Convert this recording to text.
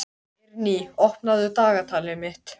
Eirný, opnaðu dagatalið mitt.